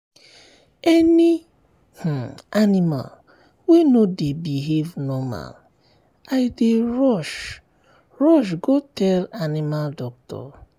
any um animal wey no dey behave normal i dey i dey rush go tell um animal doctor.